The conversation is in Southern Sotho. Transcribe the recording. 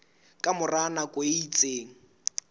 ka mora nako e itseng